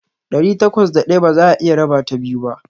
Ɗari takwas da ɗaya ba za'a iya rabata biyu ba.